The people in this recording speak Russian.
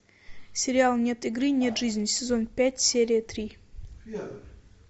сериал нет игры нет жизни сезон пять серия три